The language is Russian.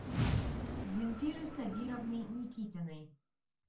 зинфиры сабировны никитиной